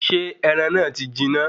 Ṣé ẹran náà ti jiná?